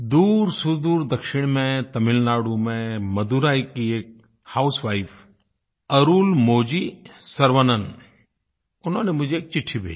दूरसुदूर दक्षिण में तमिलनाडु में मदुराई की एक हाउसवाइफ अरुलमोझी सर्वनन उन्होंने मुझे एक चिट्ठी भेजी